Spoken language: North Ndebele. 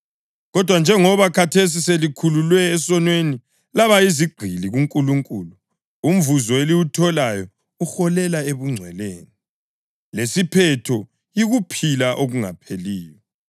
Kodwa njengoba khathesi selikhululwe esonweni laba yizigqili kuNkulunkulu, umvuzo eliwutholayo uholela ebungcweleni, lesiphetho yikuphila okungapheliyo.